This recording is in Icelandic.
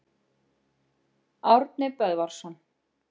Árni Böðvarsson.